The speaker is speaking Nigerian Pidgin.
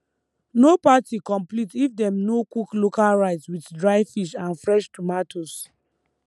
no party complete if dem no cook local rice with dry fish and fresh tomatoes